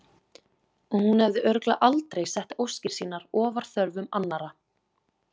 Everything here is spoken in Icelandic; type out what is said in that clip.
Og hún hefði örugglega aldrei sett óskir sínar ofar þörfum annarra.